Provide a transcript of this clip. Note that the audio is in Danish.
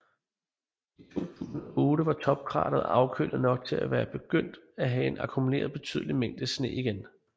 I 2008 var topkrateret afkølet nok til at være begyndt at have akkumuleret betydelige mængder sne igen